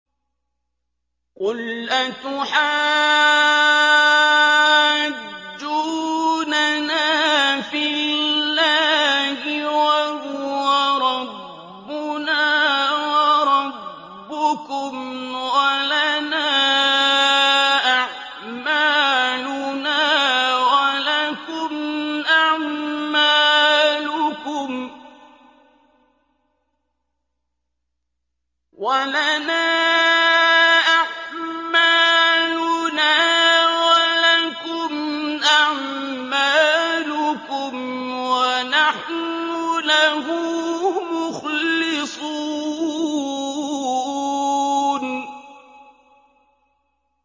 قُلْ أَتُحَاجُّونَنَا فِي اللَّهِ وَهُوَ رَبُّنَا وَرَبُّكُمْ وَلَنَا أَعْمَالُنَا وَلَكُمْ أَعْمَالُكُمْ وَنَحْنُ لَهُ مُخْلِصُونَ